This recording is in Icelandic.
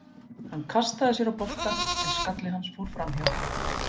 Hann kastaði sér á boltann en skalli hans fór framhjá.